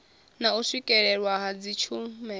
na u swikelelwa ha dzitshumelo